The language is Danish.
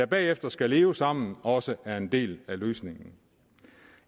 bagefter skal leve sammen også er en del af løsningen